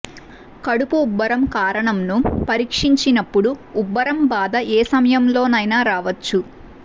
కడుపు ఉబ్బరం కారణంను పరిక్షించినపుడు ఉబ్బరం బాధ ఏ సమయంలో నైన రావచ్చు